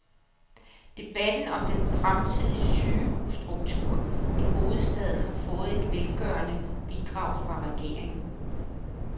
Debatten om den fremtidige sygehusstruktur i hovedstaden har fået et velgørende bidrag fra regeringen.